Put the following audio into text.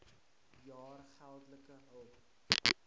jaar geldelike hulp